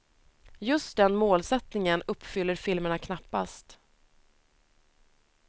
Just den målsättningen uppfyller filmerna knappast.